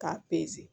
K'a